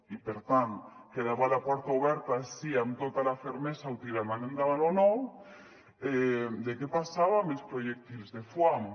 i per tant quedava la porta oberta si amb tota la fermesa ho tiraran endavant o no de què passava amb els projectils de foam